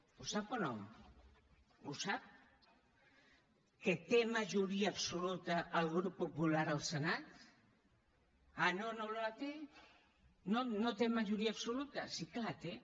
ho sap o no ho sap que té majoria absoluta el grup popular al senat ah no no la té no té majoria absoluta sí que la té